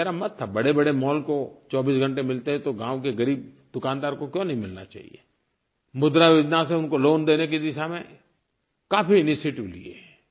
क्योंकि मेरा मत था बड़ेबड़े मॉल को 24 घंटे मिलते हैं तो गाँव के ग़रीब दुकानदार को क्यों नहीं मिलना चाहिये मुद्रायोजना से उनको लोआन देने की दिशा में काफी इनिशिएटिव लिए